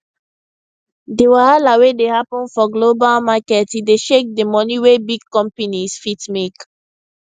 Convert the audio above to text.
di wahala wey dey happen for global market e dey shake di money wey big companies fit make